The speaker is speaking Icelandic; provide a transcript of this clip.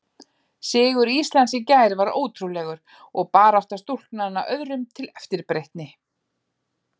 Sigur Íslands í gær var ótrúlegur og barátta stúlknanna öðrum til eftirbreytni.